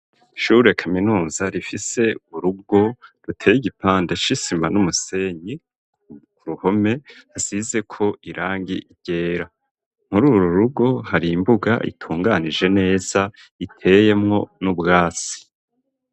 Ishure kaminuza rifise urugo ruteye igipande c'isima n'umusenyi ku ruhome, hasize ko irangi ryera kuri uru rugo hari imbuga itunganije neza, iteyemwo n'ubwasi.